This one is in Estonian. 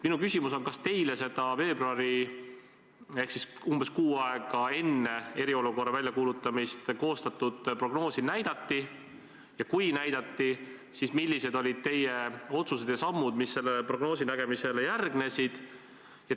Minu küsimus on: kas teile seda veebruaris ehk siis umbes kuu aega enne eriolukorra väljakuulutamist koostatud prognoosi näidati ja kui näidati, siis millised olid teie otsused ja sammud, mis selle prognoosi nägemisele järgnesid?